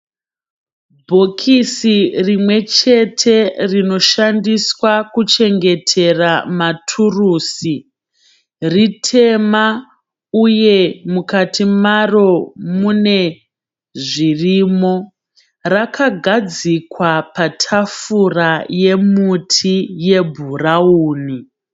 Bhokisii rimwechete rinoshandiswa kuchengetera maturusi, ritema uye mukati maro mune zvirimo. Rakagadzikwa patafura yemuti yebhurauni.